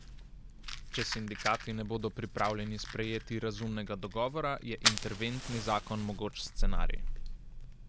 Če sindikati ne bodo pripravljeni sprejeti razumnega dogovora, je interventni zakon mogoč scenarij.